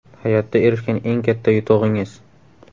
Hayotda erishgan eng katta yutug‘ingiz?